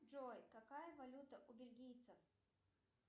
джой какая валюта у бельгийцев